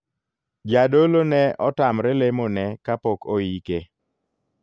Jadolo ne otamre lemo ne kapok oike.